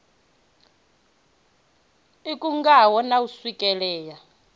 i khungaho na u swikelea